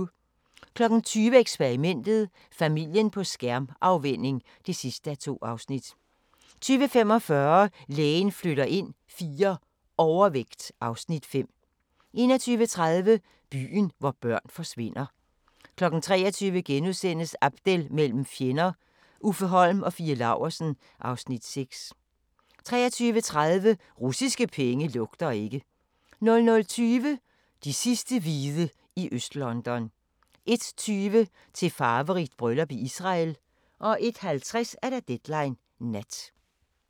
20:00: Eksperimentet: Familien på skærmafvænning (2:2) 20:45: Lægen flytter ind IV – Overvægt (Afs. 5) 21:30: Byen, hvor børn forsvinder 23:00: Abdel mellem fjender – Uffe Holm og Fie Laursen (Afs. 6)* 23:30: Russiske penge lugter ikke 00:20: De sidste hvide i Øst-London 01:20: Til farverigt bryllup i Israel 01:50: Deadline Nat